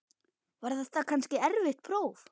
Var þetta kannski erfitt próf?